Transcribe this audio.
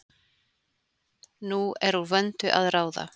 Nú er úr vöndu að ráða!